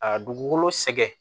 A dugukolo sɛgɛn